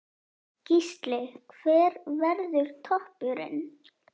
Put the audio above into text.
Gísli: Hver verður toppurinn?